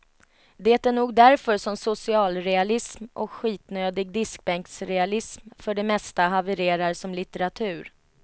Det är nog därför som socialrealism och skitnödig diskbänksrealism för det mesta havererar som litteratur.